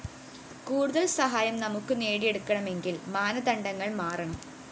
കൂടുതല്‍ സഹായം നമുക്ക്‌ നേടിയെടുക്കണമെങ്കില്‍ മാനദണ്ഡങ്ങള്‍ മാറണം